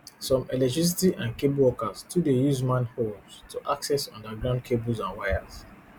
some electricity and cable workers too dey use manholes to access underground cables and wires